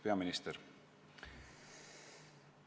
Peaminister!